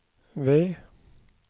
ved